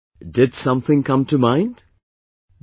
Did something come to mind No